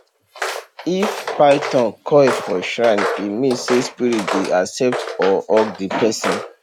if python coil for shrine e mean say spirit dey accept or hug the person